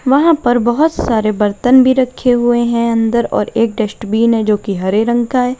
वहां पर बहोत सारे बर्तन भी रखे हुए हैं अंदर और एक डस्टबिन जो की हरे रंग का है।